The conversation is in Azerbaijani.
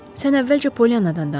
Sən əvvəlcə Pollyanadan danış.